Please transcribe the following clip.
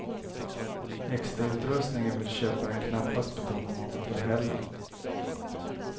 Extrautrustningen vill köparen knappast betala något för heller.